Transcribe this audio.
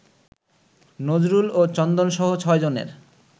নজরুল ও চন্দনসহ ছয়জনের